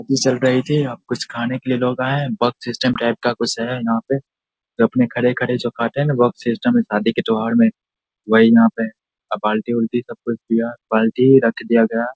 T चल रहे थे अब कुछ खाने के लिए लोग आये हैं। बफ सिस्टम टाइप का कुछ है यहाँ पे जो अपने खड़े-खड़े जो खाते हैं न बफ सिस्टम । इस शादी के त्यौहार में वही यहाँ पे अ बाल्टी उलटी सब कुछ किया। बाल्टी ही रख दिया गया।